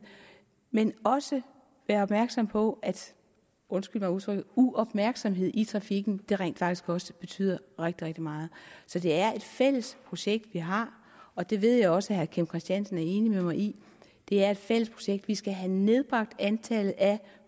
men også være opmærksomme på at undskyld mig udtrykket uopmærksomhed i trafikken rent faktisk også betyder rigtig rigtig meget så det er et fælles projekt vi har og det ved jeg også at herre kim christiansen er enig med mig i det er et fælles projekt at vi skal have nedbragt antallet af